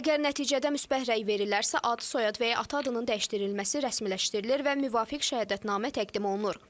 Əgər nəticədə müsbət rəy verilərsə, ad, soyad və ya ata adının dəyişdirilməsi rəsmiləşdirilir və müvafiq şəhadətnamə təqdim olunur.